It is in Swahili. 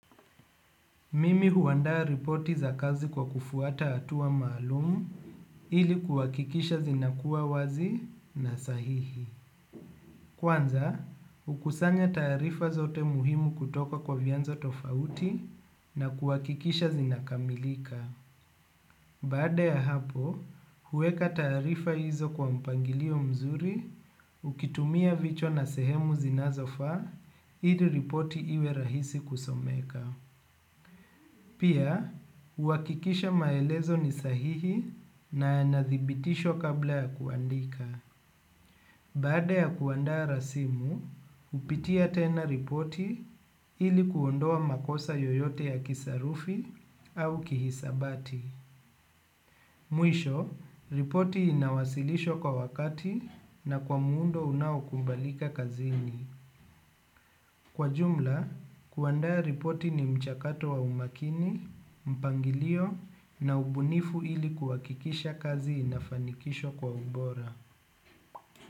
Mimi huandaa ripoti za kazi kwa kufuata hatua maalumu ili kukakikisha zinakuwa wazi na sahihi. Kwanza, hukusanya taarifa zote muhimu kutoka kwa vianzo tofauti na kuwakikisha zinakamilika. Baada ya hapo, huweka taarifa hizo kwa mpangilio mzuri, ukitumia vichwa na sehemu zinazofaa, ili ripoti iwe rahisi kusomeka. Pia, huwakikisha maelezo ni sahihi na yanadhibitishwa kabla ya kuandika. Baada ya kuandaa rasimu hupitia tena ripoti ili kuondoa makosa yoyote ya kisarufi au kihisabati. Mwisho, ripoti inawasilishwa kwa wakati na kwa muundo unaokubalika kazini. Kwa jumla, kuandaa ripoti ni mchakato wa umakini, mpangilio na ubunifu ili kuhakikisha kazi inafanikishwa kwa ubora.